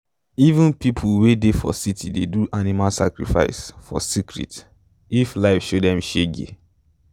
even people wey dey for city dey do animal sacrifice for secret if life show them shege.